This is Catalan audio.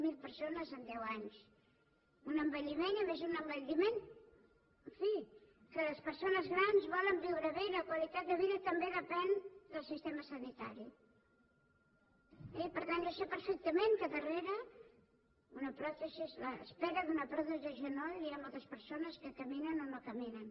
zero persones en deu anys un envelliment i a més un envelliment en fi que les persones grans volen viure bé i la qualitat de vida també depèn del sistema sanitari eh i per tant jo sé perfectament que darrere l’espera d’una pròtesi de genoll hi ha moltes persones que caminen o no caminen